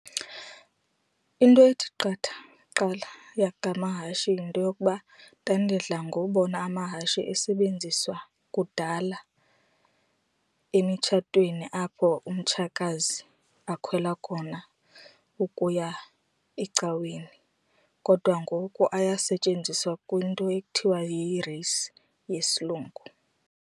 Into ethi qatha kuqala ngamahashi yinto yokuba ndandidla ngobona amahashi esebenziswa kudala emitshatweni apho umtshakazi akhwela khona ukuya ecaweni, kodwa ngoku ayasetyenziswa kwinto ekuthiwa yi-race yesilungu.